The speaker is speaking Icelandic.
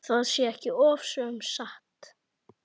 Það sé ekki ofsögum sagt.